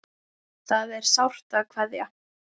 Það er sárt að kveðja.